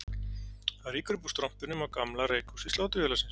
Það rýkur upp úr strompinum á gamla reykhúsi Sláturfélagsins